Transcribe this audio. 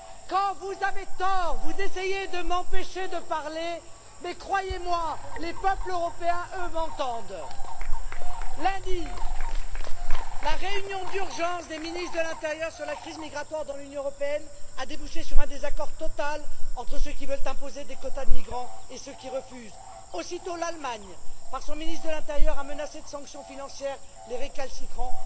Quand vous avez tort, vous essayez de m'empêcher de parler mais, croyez moi, les peuples européens, eux, m'entendent! Lundi, la réunion d'urgence des ministres de l'intérieur sur la crise migratoire dans l'Union européenne a débouché sur un désaccord total entre ceux qui veulent imposer des quotas de migrants et ceux qui refusent. Aussitôt, l'Allemagne, par son ministre de l'intérieur, a menacé de sanctions financières les récalcitrants.